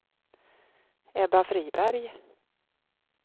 Ebba Friberg